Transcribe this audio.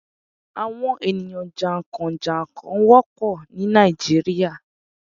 Àwọn ènìyàn jà ń kàn - jà n kàn wópọ̀ ní Nàìjíríà